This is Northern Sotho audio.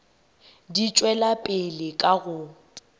di tšwela pele ka go